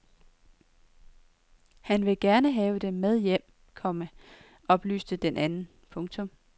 Han vil gerne have dem med hjem, komma oplyste den anden. punktum